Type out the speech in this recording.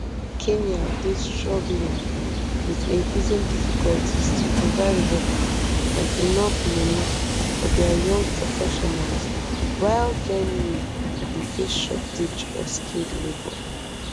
kenya dey struggling wit increasing difficulties to provide work and enof money for dia young professionals while germany dey face shortage of skilled labour